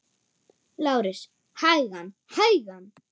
LÁRUS: Hægan, hægan!